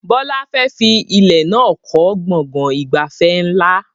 Bọlá fẹ́ fi ilẹ̀ náà kọ́ gbọ̀ngàn ìgbafẹ́ ńlá